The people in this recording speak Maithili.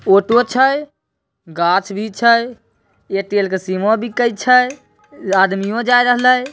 ऑटो छए गाछ भी छए एयरटेल की सिमऔ बिकाए छै आदमियों जाए रहले --